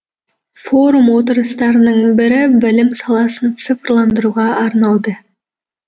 форум отырыстарының бірі білім саласын цифрландыруға арналды